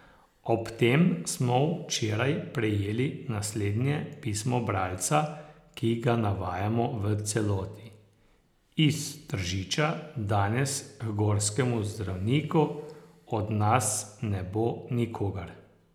Ob tem smo včeraj prejeli naslednje pismo bralca, ki ga navajamo v celoti: 'Iz Tržiča danes h gorskemu zdravniku od nas ne bo nikogar.